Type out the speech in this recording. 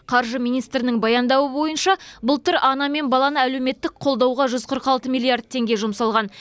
қаржы министрінің баяндауы бойынша былтыр ана мен баланы әлеуметтік қолдауға жүз қырық алты миллиард теңге жұмсалған